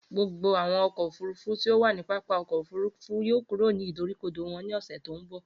Gbogbo awọn ọkọ ofurufu ti o wa ni pápá ọkọ ofurufu yoo kuro ni idorikodo wọn ni ọsẹ to nbọ.